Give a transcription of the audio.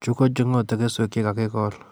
Chu ko cheing'otee keswek che kakikol